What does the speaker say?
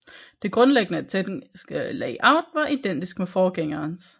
Det grundlæggende tekniske layout var identisk med forgængerens